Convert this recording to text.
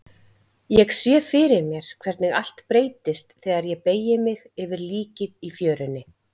Ég sé fyrir mér hvernig allt breytist þegar ég beygi mig yfir líkið í fjörunni.